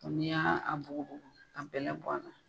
ni ya a bukubuku ka bɛlɛ bɔ a la.